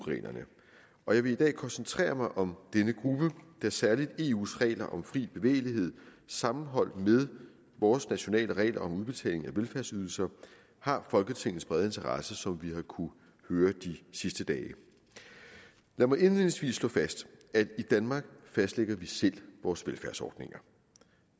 reglerne og jeg vil i dag koncentrere mig om denne gruppe da særlig eus regler om fri bevægelighed sammenholdt med vores nationale regler om udbetaling af velfærdsydelser har folketingets brede interesse som vi har kunnet høre de sidste dage lad mig indledningsvis slå fast at i danmark fastlægger vi selv vores velfærdsordninger